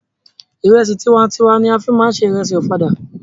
Ìrẹsì tiwa n tiwa ni a fí máa ń se ìrẹsì ọ̀fadà.